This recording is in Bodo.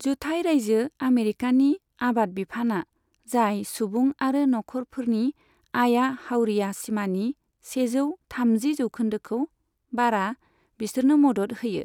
जुथाय राइजो अमेरिकानि आबाद बिफानआ, जाय सुबुं आरो नखरफोरनि आया हावरिया सिमानि सेजौ थामजि जौखोन्दोखौ बारा, बिसोरनो मदद होयो।